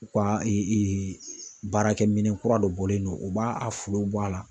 U ka baarakɛminɛn kura dɔ bɔlen don o b'a a folo bɔ a la.